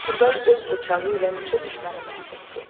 Turqay öz bıçağı ilə neçə düşməni məhv etdi.